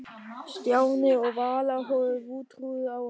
Stjáni og Vala horfðu vantrúuð á hann.